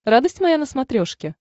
радость моя на смотрешке